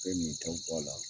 Ka i nintaw b'ɔ a la.